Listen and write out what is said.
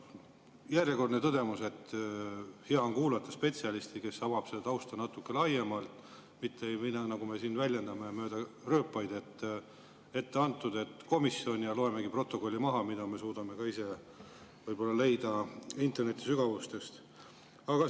Järjekordne tõdemus, et hea on kuulata spetsialisti, kes avab tausta natuke laiemalt, mitte nagu me siin väljendame, et rööpad on ette antud ja loemegi komisjoni protokolli ette, kuigi me suudaksime seda ka ise võib-olla interneti sügavustest leida.